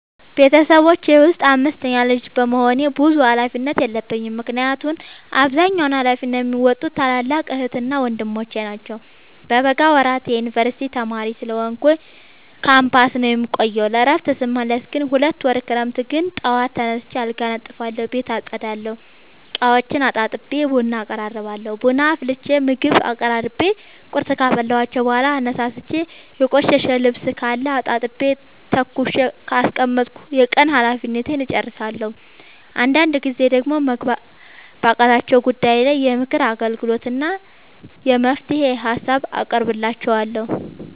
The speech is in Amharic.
ቤተሰቦቼ ውስጥ አምስተኛ ልጅ በመሆኔ ብዙ ሀላፊነት የለብኝ ምክንያቱን አብዛኛውን ሀላፊነት የሚዎጡት ታላላቅ ዕህትና ወንድሞቼ ናቸው። በበጋ ወራት የዮንበርሲቲ ተማሪ ስለሆንኩኝ ካምፖስ ነው የምቆየው። ለእረፍት ስመለስ ግን ሁለት ወር ክረምት ግን ጠዋት ተነስቼ አልጋ አነጥፋለሁ ቤት አፀዳለሁ፤ እቃዎቹን አጣጥቤ ቡና አቀራርባለሁ ቡና አፍልቼ ምግብ አቀራርቤ ቁርስ ካበላኋቸው በኋላ አነሳስቼ። የቆሸሸ ልብስካለ አጣጥቤ ተኩሼ ካስቀመጥኩ የቀን ሀላፊነቴን እጨርሳለሁ። አንዳንድ ጊዜ ደግሞ መግባባት ባቃታቸው ጉዳይ ላይ የምክር አገልግሎት እና የመፍትሄ ሀሳብ አቀርብላቸዋለሁ።